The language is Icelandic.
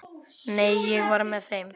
Nei, ég var með þeim.